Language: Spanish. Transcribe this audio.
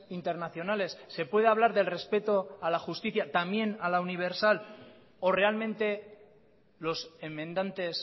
internacionales se puede hablar del respeto a la justicia también a la universal o realmente los enmendantes